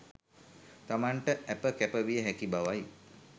තමන්ට ඇප කැප විය හැකි බවයි.